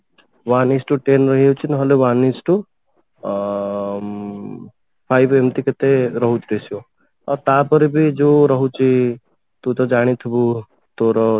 one each to ten ରହିଯାଉଛି ନହେଲେ one each to ଅ ଉଁ five ଏମତି କେତେ ରହୁଛି ratio ଆଉ ତାପରେ ବି ଯଉ ରହୁଛି ତୁ ତ ଜାଣିଥିବୁ ତୋର